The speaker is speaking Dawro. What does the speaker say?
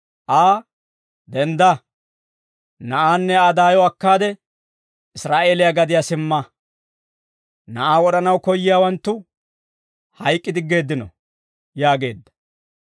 Aa, «Dendda; na'aanne Aa daayo akkaade, Israa'eeliyaa gadiyaa simma. Na'aa wod'anaw koyyiyaawanttu hayk'k'i diggeeddino» yaageedda.